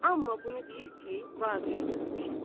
Amma bunu deyir ki, vaqeə görmüşəm.